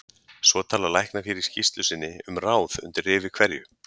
Svo tala læknar hér í skýrslu sinni um ráð undir rifi hverju